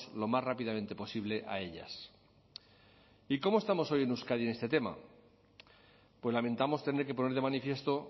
lo más rápidamente posible a ellas y cómo estamos hoy en euskadi en este tema pues lamentamos tener que poner de manifiesto